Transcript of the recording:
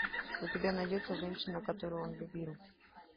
у тебя найдется женщина которую он любил